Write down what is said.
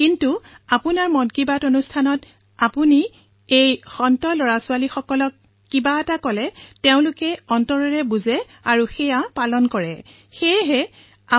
কিন্তু যেতিয়া আপোনাৰ মন কী বাত আৰম্ভ হয় তেতিয়া আপুনি লৰাছোৱালীক কিবা কলে তেওঁলোকে হৃদয়েৰে বুজি পায় আৰু সেই কথাসমূহ পালনো কৰে